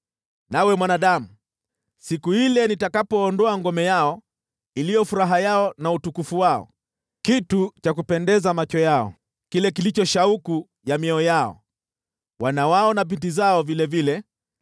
“Nawe, mwanadamu, siku ile nitakapoondoa ngome yao iliyo furaha yao na utukufu wao, kitu cha kupendeza macho yao, kile kilicho shauku ya mioyo yao, wana wao na binti zao vilevile,